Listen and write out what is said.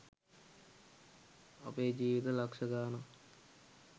අපේ ජීවිත ලක්ෂ ගාණක්